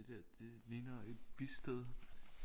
Det der det ligner et bistad